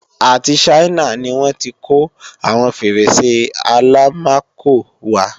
Àti Ṣáínà ni wọ́n tí kó àwọn Fèrèsé Àlámakò wá